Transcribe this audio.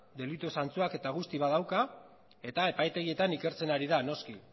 delitua zantzuak eta guzti badauka eta epaitegietan ikertzen ari da noski